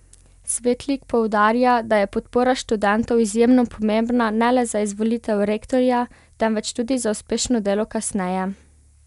Svetlik poudarja, da je podpora študentov izjemno pomembna ne le za izvolitev rektorja, temveč tudi za uspešno delo kasneje.